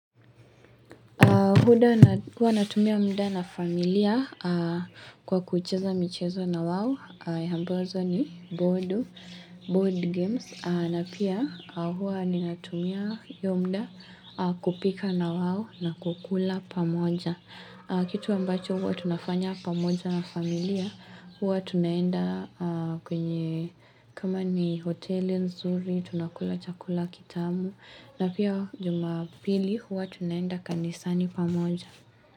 Mda huwa natumia mda na familia kwa kucheza michezo na wao ya ambazo ni board games na pia huwa ni natumia huo mda kupika nawao na kukula pamoja. Kitu ambacho huwa tunafanya pamoja na familia huwa tunaenda kwenye kama ni hoteli nzuri tunakula chakula kitamu. Na pia jumapili huwa tunaenda kanisani pamoja.